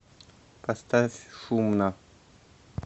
поставь шумно